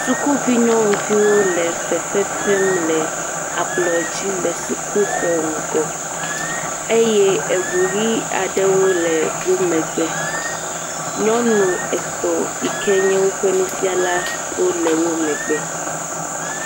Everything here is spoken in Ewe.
Sukuvi nyɔnuviwo le fefe fem le ablɔdzi le sukuxɔ ŋgɔ, eye eʋu ɣi aɖewo le wò megbe. Nyɔnu etɔ yike nye woƒe nufiala wò le wò megbe.